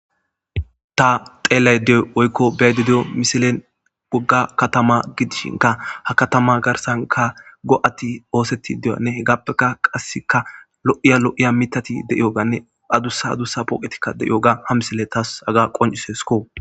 Ta xeellay deyoy oykko bay de deyo misilen gogga katama gidishinka ha katama garsanka go'ati ooseti deyanne he gappeka qasseka lo'iya lo'iya mitati de'iyoganne adussa dusa pooqetikka de'iyo ga ha misile taas aga qoncisesko.